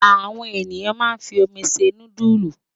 Àwọn ènìyàn máa ń fi omi se núdúlù.